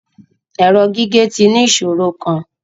Ẹrọ gige ti ni iṣoro kan